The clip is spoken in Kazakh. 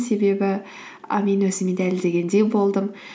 себебі і мен өзіме дәлелдегендей болдым